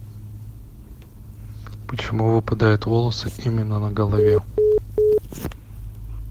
почему выпадают волосы именно на голове